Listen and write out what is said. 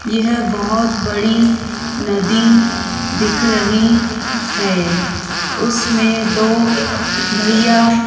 यह बहोत बड़ी नदी दिख रही है उसमें दो भैया --